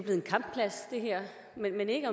ikke